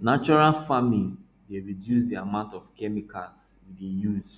natural farming dey reduce di amount of chemicals we dey use